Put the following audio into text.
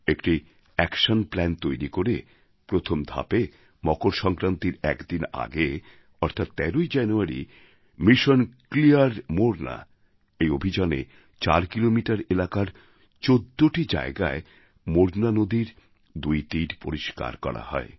একটি action plan তৈরি করে প্রথম ধাপে মকর সংক্রান্তির একদিন আগে অর্থাৎ ১৩ই জানুয়ারি মিশন ক্লিয়ার মোরনা অভিযানে চার কিলোমিটার এলাকার ১৪টি জায়গায় মোরনা নদীর দুই তীর পরিষ্কার করা হয়